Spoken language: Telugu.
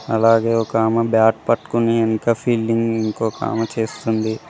అలాగే ఒక ఆమ బ్యాట్ పట్టుకుని ఎనక ఫీల్డింగ్ ఇంకొకామ చేస్తుంది.